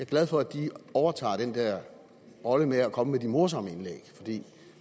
glad for at de har overtaget den der rolle med at komme med de morsomme indlæg